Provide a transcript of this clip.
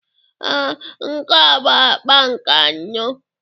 Ee, nke a bụ akpa nke anọ